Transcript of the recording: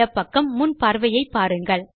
இடப் பக்கம் முன் பார்வையை பாருங்கள்